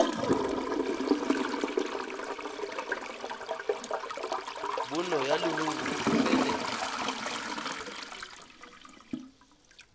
bonno ya leruri e felelwe